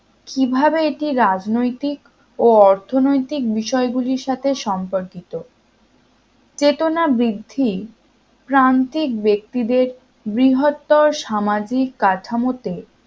তবে কিভাবে এটি রাজনৈতিক ও অর্থনৈতিক বিষয়গুলির সাথে সম্পর্কিত চেতনা বৃদ্ধি প্রান্তিক ব্যক্তিদের বৃহত্তর সামাজিক কাঠামোতে